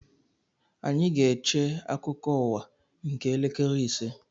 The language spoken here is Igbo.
Anyị ga-eche akụkọ ụwa nke elekere ise